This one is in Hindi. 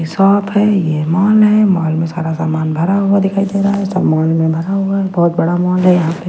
शॉप है यह मॉल है मॉल में सारा सामान भरा हुआ दिखाई दे रहा है सब मॉल में भरा हुआ है बहुत बड़ा मॉल है यहां पे --